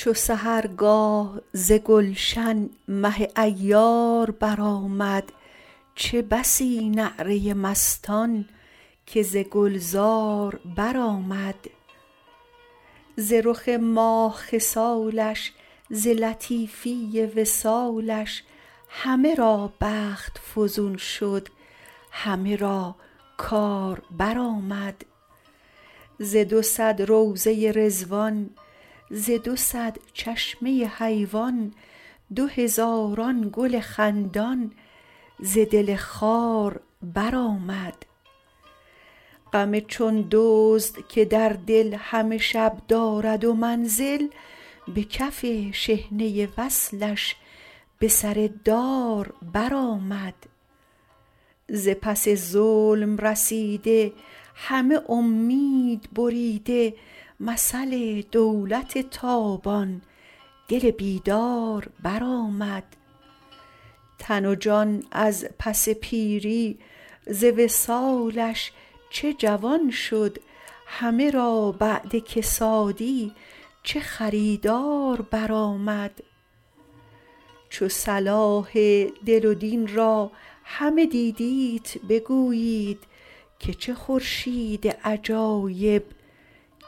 چو سحرگاه ز گلشن مه عیار برآمد چه بسی نعره مستان که ز گلزار برآمد ز رخ ماه خصالش ز لطیفی وصالش همه را بخت فزون شد همه را کار برآمد ز دو صد روضه رضوان ز دو صد چشمه حیوان دو هزاران گل خندان ز دل خار برآمد غم چون دزد که در دل همه شب دارد منزل به کف شحنه وصلش به سر دار برآمد ز پس ظلم رسیده همه امید بریده مثل دولت تابان دل بیدار برآمد تن و جان از پس پیری ز وصالش چه جوان شد همه را بعد کسادی چه خریدار برآمد چو صلاح دل و دین را همه دیدیت بگویید که چه خورشید عجایب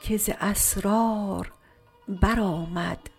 که ز اسرار برآمد